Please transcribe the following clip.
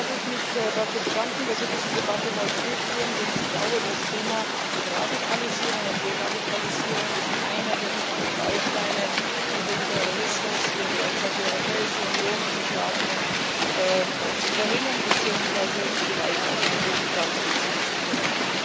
Zunächst einmal darf ich mich dafür bedanken, dass wir diese Debatte heute führen, denn ich glaube, das Thema Radikalisierung und Deradikalisierung ist einer der wichtigen Bausteine, um den Terrorismus, der derzeit die Europäische Union in Beschlag nimmt, zu verringern beziehungsweise ihm vielleicht auch ganz den Boden entziehen zu können.